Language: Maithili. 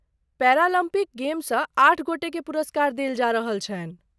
पेैरालम्पिक गेमसँ आठ गोटेकेँ पुरस्कार देल जा रहल छनि।